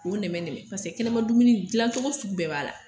O nɛmɛnɛmɛ kɛnɛma dumuni dilancɔgɔ sugu bɛɛ b'a la